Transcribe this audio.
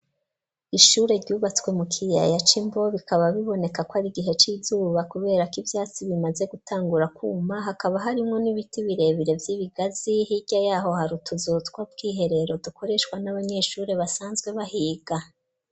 Ishure ryubatswe mu kiyaya c'Imbo bikaba biboneka ko ari igihe c'izuba kubera ko ivyatsi bimaze gutangura kuma, hakaba harimwo n'ibiti birebire vy'ibigazi, hirya yaho hari utuzu tw' ubwiherero dukoreshwa n'abanyeshuri basanzwe bahiga.